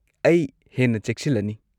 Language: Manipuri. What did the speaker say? ꯑꯩ ꯍꯦꯟꯅ ꯆꯦꯛꯁꯤꯜꯂꯅꯤ꯫